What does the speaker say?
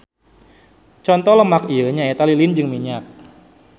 Conto lemak ieu nyaeta lilin jeung minyak.